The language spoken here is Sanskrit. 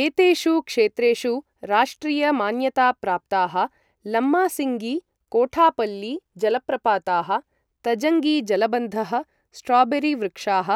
एतेषु क्षेत्रेषु राष्ट्रिय मान्यताप्राप्ताः लम्मासिङ्गी, कोठापल्ली जलप्रपाताः, तजङ्गी जलबन्धः, स्ट्रॉबेरी वृक्षाः,